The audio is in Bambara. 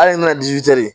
Hali n'a